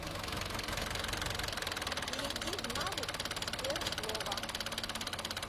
перейди в навык сберслово